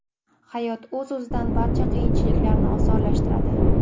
Hayot o‘z-o‘zidan barcha qiyinchiliklarni osonlashtiradi.